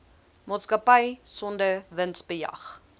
maatskappy sonder winsbejag